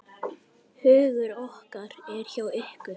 Hugur okkar er hjá ykkur.